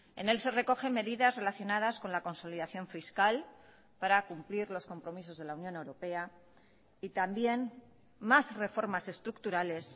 en él se recogen medidas relacionadas con la consolidación fiscal para cumplir los compromisos de la unión europea y también más reformas estructurales